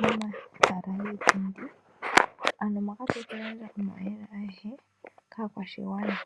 momahala giipundi mpoka tayi kagandja omauyelele agehe kaakwashigwana.